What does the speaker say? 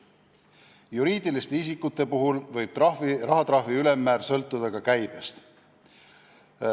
Juriidiliste isikute puhul võib rahatrahvi ülemmäär sõltuda ka käibest.